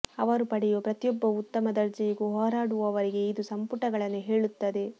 ಅವರು ಪಡೆಯುವ ಪ್ರತಿಯೊಬ್ಬ ಉತ್ತಮ ದರ್ಜೆಯಿಗೂ ಹೋರಾಡುವವರಿಗೆ ಇದು ಸಂಪುಟಗಳನ್ನು ಹೇಳುತ್ತದೆ